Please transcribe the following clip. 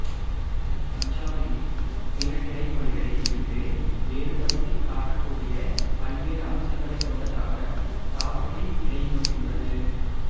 பஞ்சாபியின் பிற கிளைமொழிகளில் இருந்து வேறுபடுத்திக் காட்டக்கூடிய பல்வேறு அம்சங்களைக் கொண்டதாக சாபுரி கிளைமொழி உள்ளது